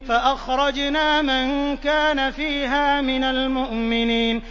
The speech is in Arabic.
فَأَخْرَجْنَا مَن كَانَ فِيهَا مِنَ الْمُؤْمِنِينَ